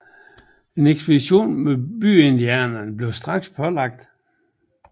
En ekspedition mod byindianerne blev straks planlagt